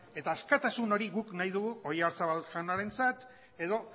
eta askatasun hori guk nahi dugu oyarzabal jaunarentzat edo